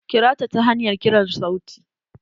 Kira ta ta hanyar kiran sauti.